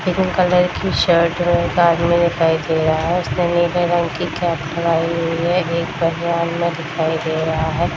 Green colour की shirt में एक आदमी दिखाई दे रहा है उसने नीले रंग की कैप लगायी हुई है एक बनियान में दिखाई दे रहा है।